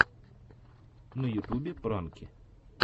на ютубе пранки